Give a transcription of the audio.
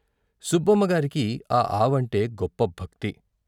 సుబ్బమ్మగారికి ఆ ఆవంటే గొప్ప భక్తి.